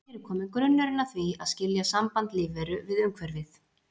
Hér er kominn grunnurinn að því að skilja samband lífveru við umhverfið.